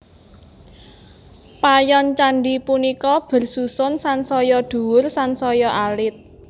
Payon candhi punika bersusun sansaya dhuwur sansaya alit